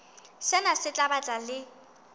sena se tla ba le